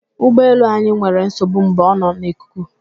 Ụgbọ elu anyị nwere nsogbu mgbe ọ nọ n'ikuku